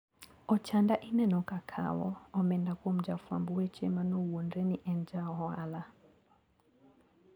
Ochanda ineno kakawo omenda kuom jafwamb weche manowuondre ni en jaohala.